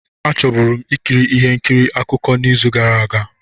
A chọburu m ikiri ihe nkiri akụkọ n'izu gara aga.